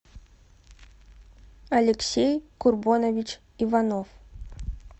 алексей курбонович иванов